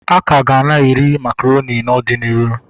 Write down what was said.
Akaga na-eri makaronị n'ọdịnihu